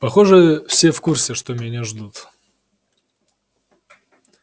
похоже все в курсе что меня ждут